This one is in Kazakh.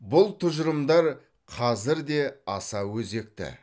бұл тұжырымдар қазір де аса өзекті